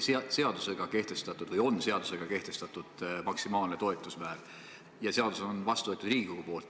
Siiamaani on seadusega kehtestatud maksimaalne toetusmäär ja seadus on vastu võetud Riigikogus.